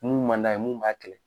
Mun m'a d'a ye mun b'a kɛlɛ.